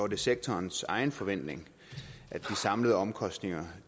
det sektorens egen forventning at de samlede omkostninger